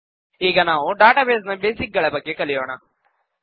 ಈಗ ನಾವು ಡಾಟಾಬೇಸ್ ನ ಬೇಸಿಕ್ ಗಳ ಬಗ್ಗೆ ಕಲಿಯೋಣ